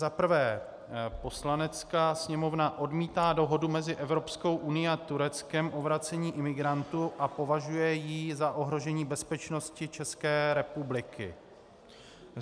Za prvé: Poslanecká sněmovna odmítá dohodu mezi Evropskou unií a Tureckem o vracení imigrantů a považuje ji za ohrožení bezpečnosti České republiky.